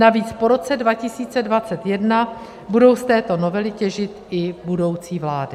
Navíc po roce 2021 budou z této novely těžit i budoucí vlády.